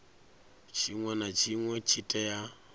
tshinwe na tshinwe tshi tea